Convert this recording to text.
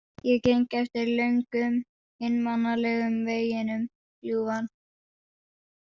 Ég geng eftir löngum, einmanalegum veginum, ljúfan.